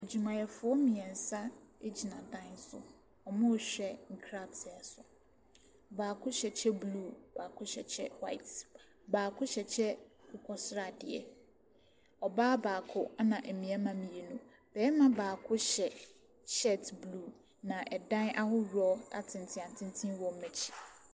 Adwumayɛfoɔ mmiɛnsagyina dan so. Wɔrehwɛ nkrataa so, baako hyɛ kyɛ blue, baako hyɛ kyɛ white, baako hyɛ kyɛ akokɔsradeɛ. Ɔbaa baako na mmarima mmienu. Barima baako hyɛ shirt blue, na dan ahorow atenten atenten nso gyina hɔ.